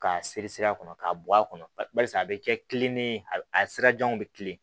K'a siri sira kɔnɔ k'a bɔ a kɔnɔ barisa a bɛ kɛ kilini ye a sirajanw bɛ kilen